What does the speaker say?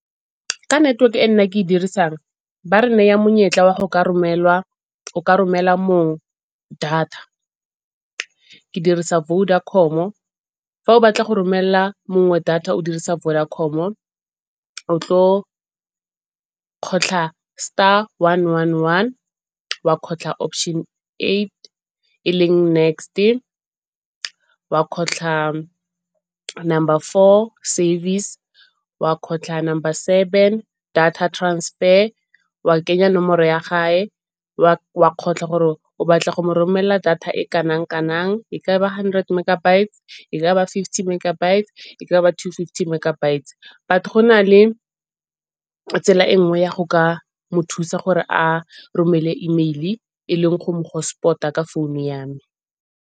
Ka network e nna ke e dirisang ba re naya monyetla wa go ka romela mongwe data. Ke dirisa Vodacom-o, fa o batla go romela mongwe data o dirisa Vodacom-o o tlo kgotlha star, one, one, one, wa kgotlha option eight, e leng next-e, wa kgotlha number four service, wa kgotlha number seven data transfer, wa kenya nomoro ya gae wa kgotlha gore o batla go mo romela data e kanang kanang. E ka ba hundred megabytes, e ka ba fifty megabytes, e ka ba two-fifty megabytes. But go na le tsela e nngwe ya go ka mo thusa gore a romele email-i e leng go mo hotspot-a ka phone ya me.